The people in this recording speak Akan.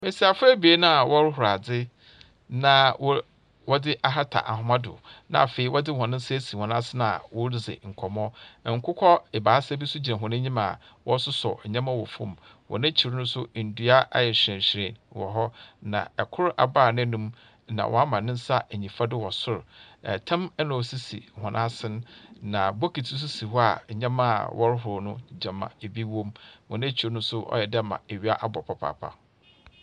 Mbasiafo ebien a wɔrohor adze na wɔdze ahata ahoma do, na afei wɔdze hɔn nsa asen a woridzi nkɔmbɔ. Nkokɔ ebiasa bi so gyina hɔn enyim wɔrososɔw ndzɛmba famu. Hɔn a ekyir no so, ndua ayɛ hyerɛnhyerɛn wɔ hɔ. kor abaa n’anomu na ɔama ne nsa enyimfa do wɔ sor. Tam na osisi hɔn asen, na bokitsi so si hɔ a ndzɛmba a wɔrohor no gyama bi wɔ mu. Hɔn ekyir no so, ɔyɛ dɛ gyama ewia abɔ papaapa.